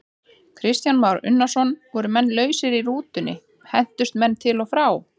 Kristján Már Unnarsson: Voru menn lausir í rútunni, hentust menn til og frá?